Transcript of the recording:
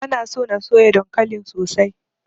Bana so na soya dankalin sosai.